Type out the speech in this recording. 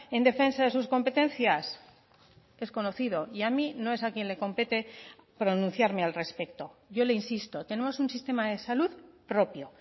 en defensa de sus competencias es conocido y a mí no es a quien le compete pronunciarme al respecto yo le insisto tenemos un sistema de salud propio